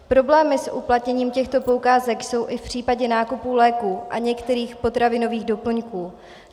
Problémy s uplatněním těchto poukázek jsou i v případě nákupů léků a některých potravinových doplňků.